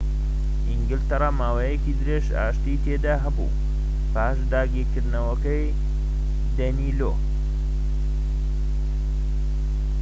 ئینگلتەرا ماوەیەکی درێژ ئاشتی تێدا هەبوو پاش داگیرکردنەوەی دەینلۆ